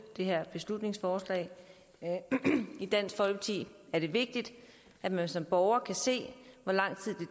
det her beslutningsforslag i dansk folkeparti er det vigtigt at man som borger kan se hvor lang tid